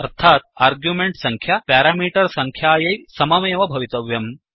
अर्थात् आर्ग्यूमेण्ट् सङ्ख्या प्यारामीटर् सङ्ख्यायै सममेव भवितव्यम्